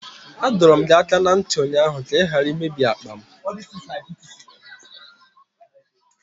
Adọọrọ m gị aka na ntị ụnyaahụ ka ị ghara imebi akpa m!